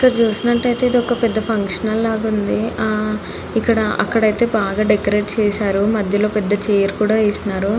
ఇక్కడ చూసినట్టు అయితే ఇది ఒక పెద్ద ఫంక్షన్ హాల్ లా ఉంది. ఆ ఇక్కడ అక్కడ అయితే బాగా డెకరేట్ చేసినారు మధ్యల పెద్ద చైర్ కూడా వేసినారు.